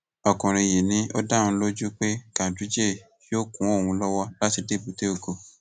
ọkùnrin yìí ni ó dá òun lójú pé ganduje yóò kún òun lọwọ láti dé èbúté ògo